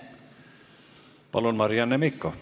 Palun, Marianne Mikko!